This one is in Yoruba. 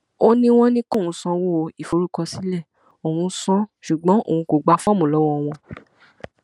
ó ní wọn ní kóun sanwó ìforúkọsílẹ òun san án ṣùgbọn òun kò gba fọọmù lọwọ wọn